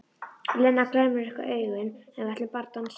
Lena glennir upp augun: En við ætlum bara að dansa.